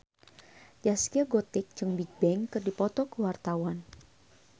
Zaskia Gotik jeung Bigbang keur dipoto ku wartawan